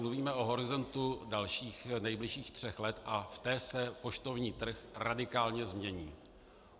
Mluvíme o horizontu dalších nejbližších tří let a v tom se poštovní trh radikálně změní.